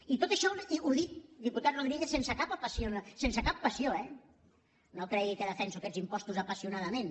i tot això ho dic diputat rodríguez sense cap passió eh no cregui que defenso aquests impostos apassionadament